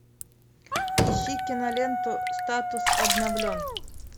ищи киноленту статус обновлен